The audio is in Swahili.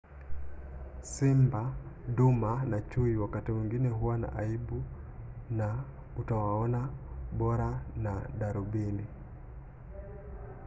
simba duma na chui wakati mwingine huwa na aibu na utawaona bora na darubini